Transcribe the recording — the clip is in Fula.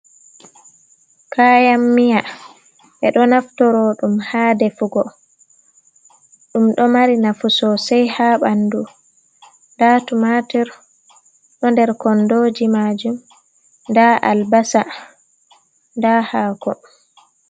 Kayan miya, ɓe ɗo naftoro ɗum haa defugo. Ɗum ɗo mari nafu sosai haa ɓandu. Nda tumatir ɗo nder kondoji majum, nda albasa, nda haako